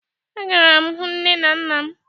A gara m hụ nne n nna m